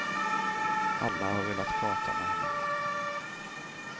Alla har velat prata med henne.